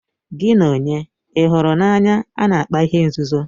Gị na onye ị hụrụ n'anya a na-akpa ihe nzuzo?